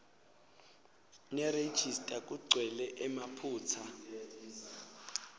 nerejista kugcwele emaphutsa